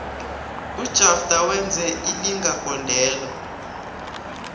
ujafter wenze ilinga gondelo